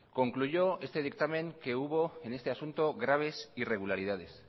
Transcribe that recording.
concluyó este dictamen que hubo en este asunto graves irregularidades